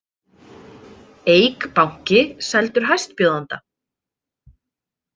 Eik banki seldur hæstbjóðanda